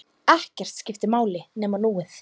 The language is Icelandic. Ekkert skipti máli nema núið.